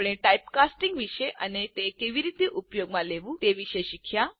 આપણે ટાઇપકાસ્ટિંગ વિશે અને તે કેવી રીતે ઉપયોગમાં લેવું તે વિષે શીખ્યા